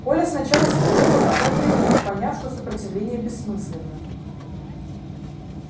коля сначала спорил а потом примолк поняв что сопротивление бессмысленно